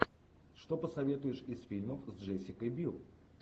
что посоветуешь из фильмов с джессикой бил